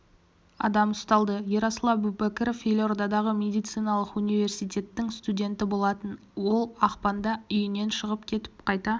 адам ұсталды ерасыл әубәкіров елордадағы медициналық университеттің студенті болатын ол ақпанда үйінен шығып кетіп қайта